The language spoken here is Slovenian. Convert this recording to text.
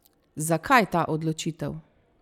Zakaj ta odločitev?